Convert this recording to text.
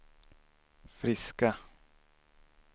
friska